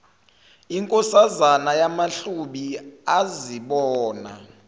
inkosazana yamahlubi azibona